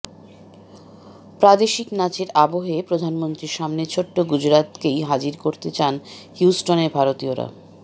প্রাদেশিক নাচের আবহে প্রধানমন্ত্রীর সামনে ছোট্ট গুজরাতকেই হাজির করতে চান হিউস্টনের ভারতীয়রা